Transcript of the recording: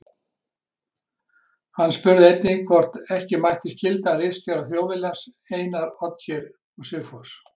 Hann spurði einnig, hvort ekki mætti skylda ritstjóra Þjóðviljans, Einar Olgeirsson og Sigfús